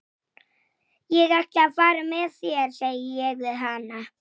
Hann hrökk við og gapti.